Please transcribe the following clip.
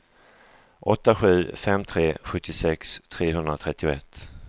åtta sju fem tre sjuttiosex trehundratrettioett